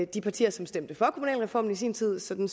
de partier som stemte for kommunalreformen i sin tid sådan